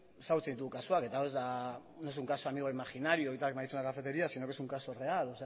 ezagutzen ditugu kasuak eta hau ez da no es un caso de amigo imaginario y tal que me han dicho en una cafetería sino que es un caso real